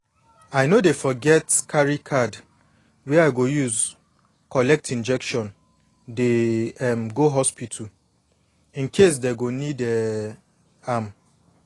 i no dey forget carry card wey i dey use collect injection dey um go hospital incase dey go need um am